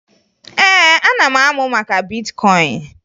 Ee, ana m amụ maka bitkọyịn